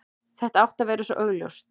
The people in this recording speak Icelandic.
Þetta átti að vera svo augljóst.